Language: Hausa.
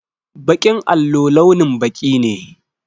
Baƙin allo launin baƙi ne.